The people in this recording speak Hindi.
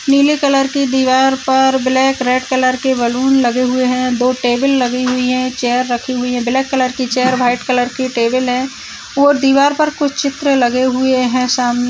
नीले कलर की दिवार पर ब्लैक रेड कलर के बैलून लगे हुए हैं दो टेबल लगी हुई हैं चेयर रखी हुई है ब्लैक कलर की चेयर वाइट कलर की टेबल है और दिवार पर कुछ चित्र लगे हुए हैं सामने --